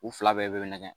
U fila bɛɛ bɛ nɛgɛ